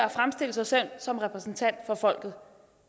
at fremstille sig selv som repræsentant for folket